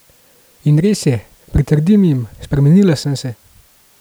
In res je, pritrdim jim, spremenila sem se!